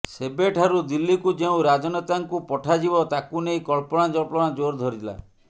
ସେବେଠାରୁ ଦିଲ୍ଲୀକୁ କେଉଁ ରାଜନେତାଙ୍କୁ ପଠାଯିବ ତାକୁ ନେଇ କଳ୍ପନା ଜଳ୍ପନା ଜୋର ଧରିଲା